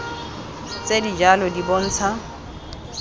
tse di jalo di bontsha